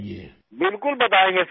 राजेश प्रजापति बिल्कुल बतायेंगे सिर